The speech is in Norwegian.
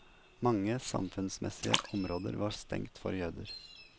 Mange samfunnsmessige områder var stengt for jøder.